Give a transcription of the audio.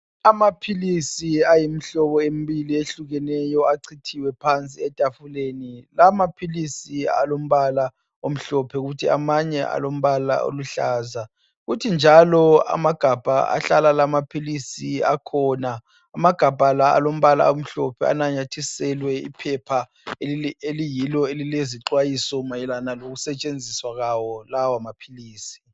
Amaphilisi ayimihlobo emibili eyehlukeneyo achithiwe phansi etafuleni. Lawa maphilisi alombala omhlophe kuthi amanye alombala oluhlaza kuthi njalo amagabha ahlala lamaphilisi akhona alombala omhlophe anamathiselwe iphepha eliyilo elilezixwayiso mayelana ngikusetshenziswa kwawo lawa maphilisi.